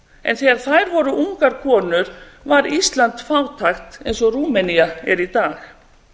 en þegar þær voru ungar konur var ísland fátækt eins og rúmenía er í dag